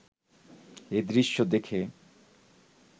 এ দৃশ্য দেখে